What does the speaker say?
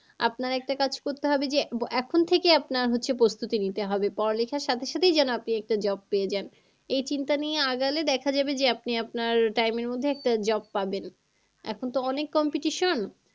আপনার একটা কাজ করতে হবে যে এখন থেকে আপনার হচ্ছে প্রস্তুতি নিতে হবে পড়ালেখার সাথে সাথেই আপনি একটা job পেয়ে যান। এই চিন্তা নিয়ে আগালে দেখা যাবে যে আপনি আপনার time এর মধ্যে একটা job পাবেন। এখন তো অনেক competition